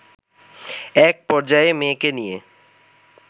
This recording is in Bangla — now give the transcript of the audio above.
এক পর্যায়ে মেয়েকে নিয়ে